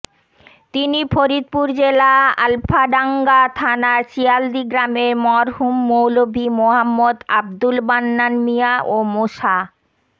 তিনি ফরিদপুর জেলা আলফাডাংগা থানার শিয়ালদী গ্রামের মরহুম মৌলভী মোহাম্মদ আব্দুল মান্নান মিয়া ও মোসা